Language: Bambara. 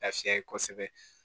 Lafiya kosɛbɛ